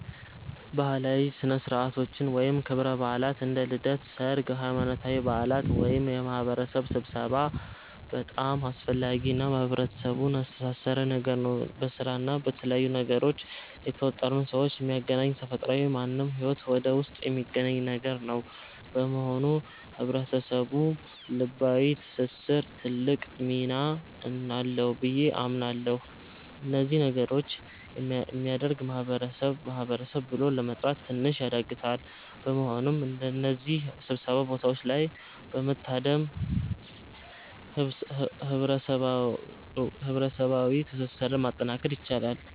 ባህላዊ ሥነ ሥርዓቶች ወይም ክብረ በዓላት (እንደ ልደት፣ ሠርግ፣ ሃይማኖታዊ በዓላት )ወይም የማህበረሰብ ስብሠባ በጣም አስፈላጊ እና ህብረተሰቡን ያስተሣሠረ ነገር ነው። በስራ እና በተለያዩ ነገሮች የተወጠሩን ሠዎች የሚያገናኝ ተፈጥሯዊ ማንም ሠው ሂወት ውስጥ የሚገኝ ነገር ነው። በመሆኑ ለህብረተሰቡ ልባዊ ትስስር ትልቅ ሚና አለው ብዬ አምናለሁ። እነዚህ ነገሮች የሚያደርግ ማህበረሰብ ማህበረሰብ ብሎ ለመጥራት ትንሽ ያዳግታል። በመሆኑም በእነዚህ ሥብሰባ ቦታዎች ላይ በመታደም ህብረሠባዋ ትስስርን ማጠናከር ይቻላል።